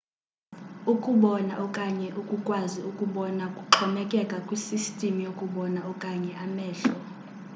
ukubona okanye ukukwazi ukubona kuxhomekeka kwisisystem yokubona okanye amehlo